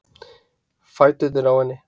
Fæturnir á henni.